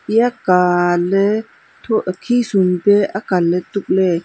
iya kan ne tho khisum pe akan ley tukley.